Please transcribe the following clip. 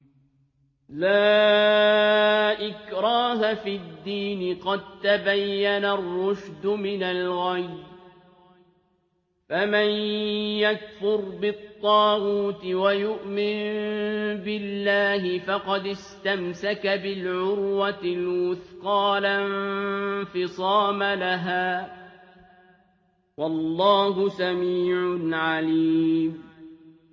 لَا إِكْرَاهَ فِي الدِّينِ ۖ قَد تَّبَيَّنَ الرُّشْدُ مِنَ الْغَيِّ ۚ فَمَن يَكْفُرْ بِالطَّاغُوتِ وَيُؤْمِن بِاللَّهِ فَقَدِ اسْتَمْسَكَ بِالْعُرْوَةِ الْوُثْقَىٰ لَا انفِصَامَ لَهَا ۗ وَاللَّهُ سَمِيعٌ عَلِيمٌ